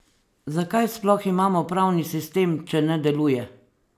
Zakaj sploh imamo pravni sistem, če ne deluje?